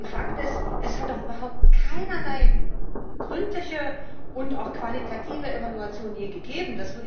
Fakt ist Es hat doch überhaupt keinerlei gründliche und auch qualitative Evaluation je gegeben.